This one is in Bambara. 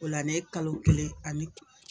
O la ne kalo kelen ani